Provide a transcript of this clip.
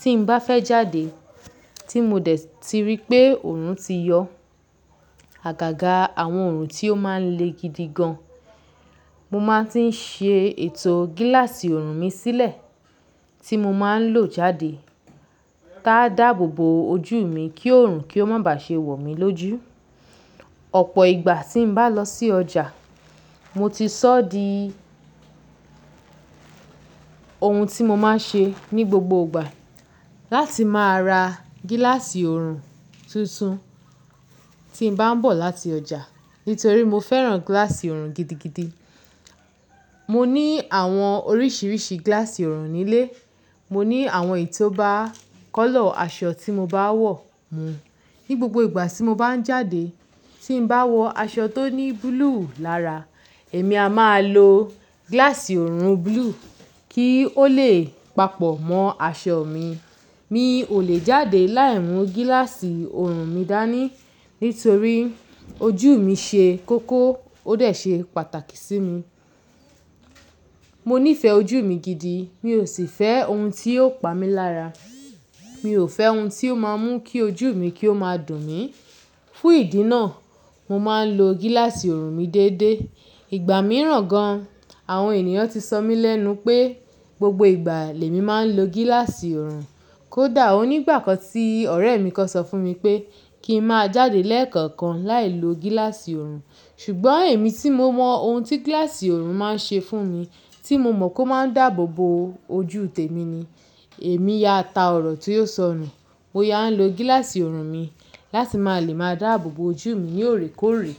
Tí n bá fẹ́ jáde tí mo dẹ̀ ti rí pé oòrùn ti yọ àgàgà àwọn oòrùn tí ó máa ń le gidi gan. Mo máa ń tí ń ṣe ètò gíláàsì ọ̀rùn mi sílẹ̀ tí mo máa ń lò jáde. Tiá dáàbò bo ojú mi kí oòrùn kí ó má bá ṣe wò mí lójú. Ọ̀pọ̀ ìgbà tí n bá lọ sí ọjà, mo ti sọ di ohun tí mo máa ń ṣe ní gbogbo ìgbà láti máa ra gíláàsì ọ̀rùn tuntun tí n bá ń bọ̀ láti ọjà. Nítorí mo fẹ́ràn gíláàsì ọ̀rùn gidigidi. Mo ní àwọn oríṣiríṣi gíláàsì ọ̀rùn nílé. Mo ní àwọn èyí tó bá colour aṣọ tí mo bá wọ̀ mú. Ní gbogbo ìgbà tí mo bá ń jáde, tí n bá wọ aṣọ tó ní búlúù lára, èmi a máa lo gíláàsì ọ̀rùn búlúù kí ó lè papọ mọ́ aṣọ mi. Mi ò lè jáde láì mú gíláàsì ọ̀rùn mi dání nítorí ojú mi ṣe kókó ó dẹ̀ ṣe pàtàkì sí mi. Mo nífẹ ojú mi gidi. Mi ò sì fẹ́ ohun tí yóò pa mí lára. Mi ò fẹ́ ohun tí ò máa mú kí ojú mi kí ó máa dùn mí. Fún ìdí náà, mo máa ń lo gíláàsì ọ̀rùn mi deédé. Ìgbà mìíràn gan, àwọn ènìyàn ti sọ mí lẹ́nu pé gbogbo ìgbà lèmi máa ń lo gíláàsì ọ̀rùn. Kódà òní ìgbà kan tí ọ̀rẹ́ mi kan sọ fún mi pé kí n má jáde lẹ́ẹ̀kookan láì lo gíláàsì ọ̀rùn. Ṣùgbọ́n èmi tí mo mọ ohun tí gíláàsì ọ̀rùn máa ń ṣe fún mi, tí mo mọ̀ kó máa ń dáàbò bo ojú tèmi ni, èmi ya ta ọ̀rọ̀ tí o sọ nu. Mo ya ń lo gíláàsì ọ̀rùn mi láti máa lè máa dáàbò bo ojú mi ní òoré kóòrè.